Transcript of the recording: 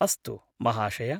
अस्तु महाशय!